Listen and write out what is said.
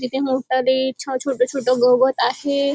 तिथे मोठाली छाव छोटं छोटं गवत आहे.